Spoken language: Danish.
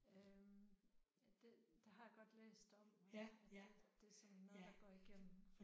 Øh det det har jeg godt læst om at at det det er sådan noget der går igennem